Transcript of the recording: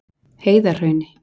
Heiðarhrauni